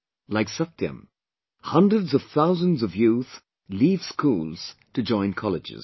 Like Satyam, Hundreds of thousands of youth leave schools to join colleges